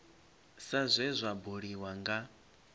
sa zwe zwa buliwa nga